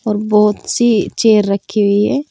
और बहोत सी चेयर रखी हुई है।